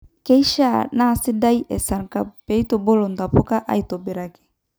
Keishaa nasidaii esarngab pitubulu ntapuka aitobiraki